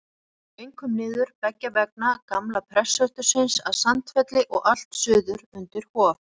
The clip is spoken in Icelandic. Þau komu einkum niður beggja vegna gamla prestsetursins að Sandfelli og allt suður undir Hof.